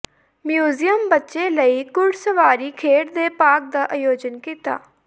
museum ਬੱਚੇ ਲਈ ਘੁੜਸਵਾਰੀ ਖੇਡ ਦੇ ਭਾਗ ਦਾ ਆਯੋਜਨ ਕੀਤਾ